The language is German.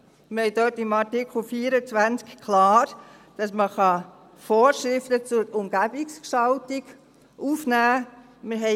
Wir haben dort in Artikel 24 BauG klar, dass man Vorschriften zur Umgebungsgestaltung aufnehmen kann.